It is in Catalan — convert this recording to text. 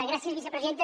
gràcies vicepresidenta